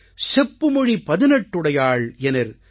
செப்பு மொழி பதினெட்டுடையாள் எனிற்